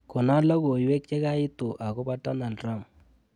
Kona logoiwek chekaitu akobo Donald Trump.